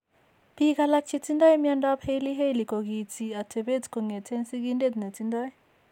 Biik alak che tindo mnyandoap Hailey Hailey kokiinti atepet kong'eten sigindeet ne tindo.